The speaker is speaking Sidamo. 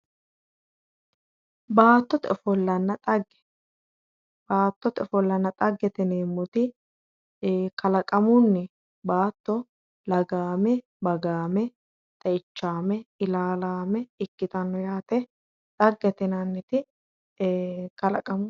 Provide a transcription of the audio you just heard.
Baattote ofollanna xaggete yineemmoti kalaqamunni baatto lagaamme bagaame xeichaame ilaalaame ikkitanno yaate xaggete yinanniti kalaqamu